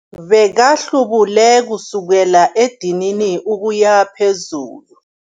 Bekahlubule kusukela edinini ukuya phezulu.